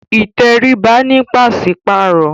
Ìtẹríba ní paṣipaarọ